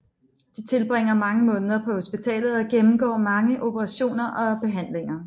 De tilbringer mange måneder på hospitalet og gennemgår mange operationer og behandlinger